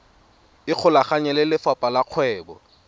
ikgolaganye le lefapha la kgwebo